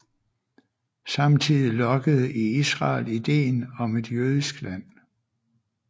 Samtidig lokkede i Israel idéen om et jødisk land